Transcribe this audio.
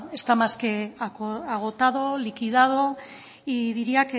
está más que agotado liquidado y diría